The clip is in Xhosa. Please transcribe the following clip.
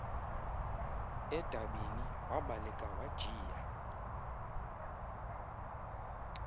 edabini wabaleka wajiya